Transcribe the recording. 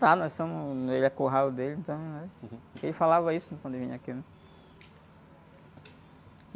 Tá, nós somos... Ele. É curral dele, então, né? Ele falava isso quando ele vinha aqui, né?